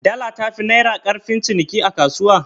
Dala tafi naira ƙarfin ciniki a kasuwa?